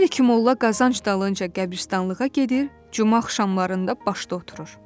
Hər iki molla qazanc dalınca qəbirstanlığa gedir, cümə axşamlarında başda oturur.